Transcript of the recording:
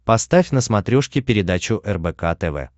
поставь на смотрешке передачу рбк тв